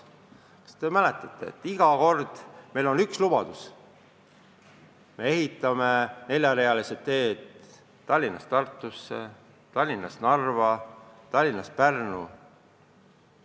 Kas te mäletate, et iga kord on meil olnud üks lubadus: me ehitame neljarealise tee Tallinnast Tartusse, Tallinnast Narva, Tallinnast Pärnu?